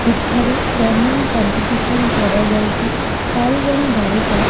ଏଠାରେ pruning competition କରାଯାଉଚି ଚାରି ଜଣ ବାଳିକା --